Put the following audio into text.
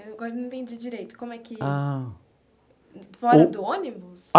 Agora não entendi direito, como é que... Ah...Fora do ônibus?